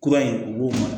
Kura in u b'o